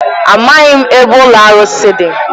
Amaghị m ebe ụlọ arụsị dị.